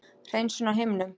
hreinsun á himnum.